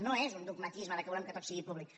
no és un dogmatisme que volem que tot sigui públic